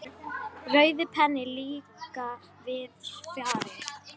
Rauði penninn líka víðs fjarri.